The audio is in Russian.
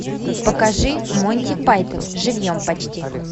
покажи монти пайтон живьем почти